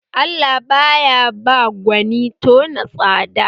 Allah baya ba gwanin tona tsaba